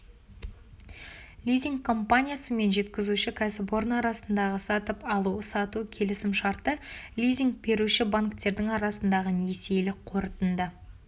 лизинг компаниясы мен жеткізуші кәсіпорын арасындағы сатып алу-сату келісім-шарты лизинг беруші банктердің арасындағы несиелік қорытынды